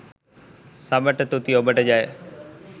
සබට තුති ඔබට ජය